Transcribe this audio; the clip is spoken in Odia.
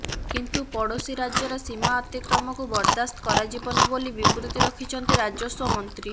କିନ୍ତୁ ପଡ଼ୋଶୀ ରାଜ୍ୟର ସୀମା ଅତିକ୍ରମକୁ ବରଦାସ୍ତ କରାଯିବନି ବୋଲି ବିବୃତି ରଖିଛନ୍ତି ରାଜସ୍ୱ ମନ୍ତ୍ରୀ